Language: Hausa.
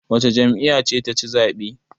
Wace jami'ya ce taci zaɓe?